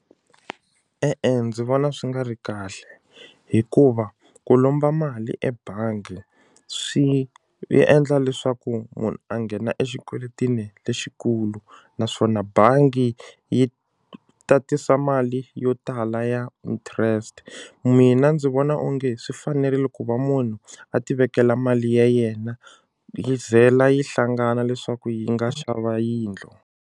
E-e ndzi vona swi nga ri kahle hikuva ku lomba mali ebangi swi endla leswaku munhu a nghena exikweleteni lexikulu naswona bangi yi tatisa mali yo tala ya interest mina ndzi vona onge swi fanerile ku va munhu a ti vekela mali ya yena yi vhela yi hlangana leswaku yi nga xava yindlu.